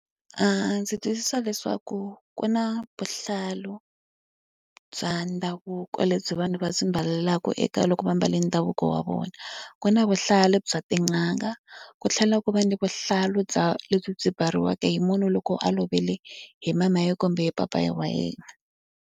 Ndzi twisisa leswaku ku na vuhlalu bya ndhavuko lebyi vanhu va byi mbalaka eka loko va mbale ndhavuko wa vona. Ku na vuhlalu bya tin'anga, ku tlhela ku va ni vuhlalu bya lebyi byi mbariwaka hi munhu loko a lovile hi mama yena kumbe papa wa yena.